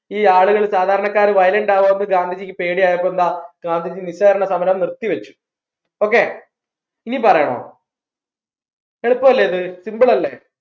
ഈ ആളുകൾ സാധാരണക്കാർ violent ആവോന്ന് ഗാന്ധിജിക്ക് പേടിയായപ്പോൾ എന്താ ഗാന്ധിജി നിസ്സാരണ സമരം നിർത്തിവച്ചു okay ഇനി പറയണോ എളുപ്പമല്ലേ ഇത് simple അല്ലേ